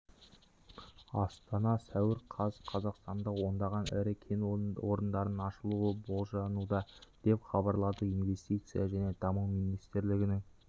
астана сәуір қаз қазақстанда ондаған ірі кен орындарының ашылуы болжануда деп хабарлады инвестиция және даму министрлігінің